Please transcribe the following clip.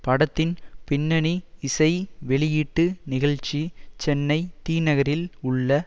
படத்தின் பின்னணி இசை வெளியீட்டு நிகழ்ச்சி சென்னை தி நகரில் உள்ள